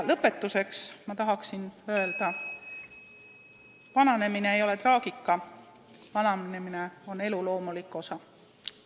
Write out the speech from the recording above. Lõpetuseks tahan öelda: vananemine ei ole traagika, vananemine on elu loomulik osa.